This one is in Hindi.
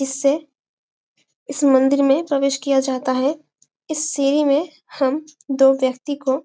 इससे इस मंदिर में प्रवेश किया जाता है इस सीढ़ी में हम दो व्यक्ति को--